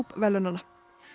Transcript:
verðlaunanna